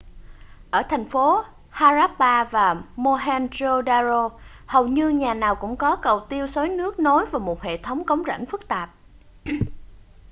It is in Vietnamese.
ở thành phố harappa và mohenjo-daro hầu như nhà nào cũng có cầu tiêu xối nước nối vào một hệ thống cống rãnh phức tạp